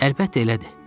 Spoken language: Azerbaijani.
Əlbəttə elədir.